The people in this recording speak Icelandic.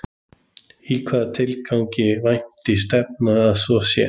Í hvaða tilgangi vænti stefndi að svo sé?